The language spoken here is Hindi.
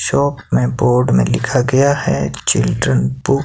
शाप में बोर्ड में लिखा गया है चिल्ड्रेन बुक --